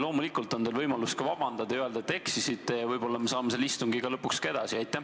Loomulikult on teil võimalus ka vabandada ja öelda, et te eksisite, ning võib-olla saame siis istungiga lõpuks ka edasi minna.